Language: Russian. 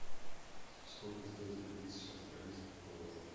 сколько стоит три тысячи австралийских долларов